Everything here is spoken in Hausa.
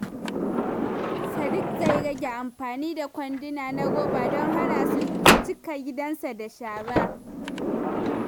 Sadiq zai rage amfani da kwanduna na roba don hana su cika gidansa da shara.